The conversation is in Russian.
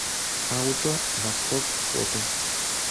ауто восток фото